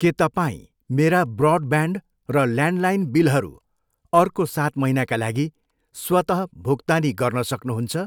के तपाईँ मेरा ब्रोडब्यान्ड र ल्यान्डलाइन बिलहरू अर्को सात महिनाका लागि स्वतः भुक्तानी गर्न सक्नुहुन्छ?